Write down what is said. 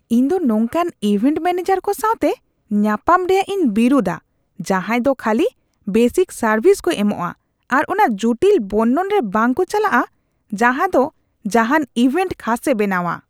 ᱤᱧᱫᱚ ᱱᱚᱝᱠᱟᱱ event manager ᱠᱚ ᱥᱟᱶᱛᱮ ᱧᱟᱯᱟᱢ ᱨᱮᱭᱟᱜ ᱤᱧ ᱵᱤᱨᱩᱫᱷᱟ ᱡᱟᱦᱟᱸᱭ ᱫᱚ ᱠᱷᱟᱹᱞᱤ ᱵᱮᱥᱤᱠ ᱥᱟᱨᱵᱷᱤᱥ ᱠᱚ ᱮᱢᱚᱜᱼᱟ ᱟᱨ ᱚᱱᱟ ᱡᱩᱴᱤᱞ ᱵᱚᱨᱱᱚᱱ ᱨᱮ ᱵᱟᱝᱠᱚ ᱪᱟᱞᱟᱜᱼᱟ ᱡᱟᱦᱟᱸᱫᱚ ᱡᱟᱦᱟᱱ ᱤᱵᱷᱮᱱᱴ ᱠᱷᱟᱥᱮ ᱵᱮᱱᱟᱣᱟ ᱾